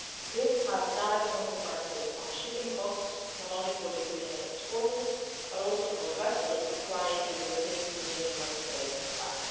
This has direct consequences on shipping costs, not only for Ukrainian exporters but also for vessels flying a European Union Member State flag.